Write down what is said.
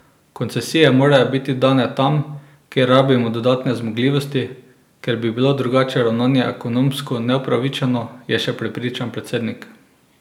Koncesije morajo biti dane tam, kjer rabimo dodatne zmogljivosti, ker bi bilo drugačno ravnanje ekonomsko neupravičeno, je še prepričan predsednik.